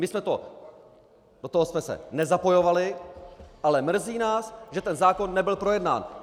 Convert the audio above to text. My jsme to... do toho jsme se nezapojovali, ale mrzí nás, že ten zákon nebyl projednán.